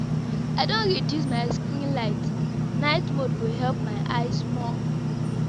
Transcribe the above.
I don reduce my screen light, night mode go help my eyes small.